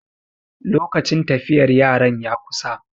lokacin tafiyar yaran ya kusa